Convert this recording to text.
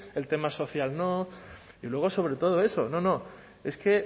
el tema social no y luego sobre todo eso no no es que